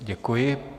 Děkuji.